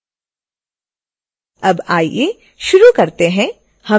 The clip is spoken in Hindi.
अब आइए शुरू करते हैं हम synfig में हैं